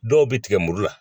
Dɔw bɛ tigɛ muru la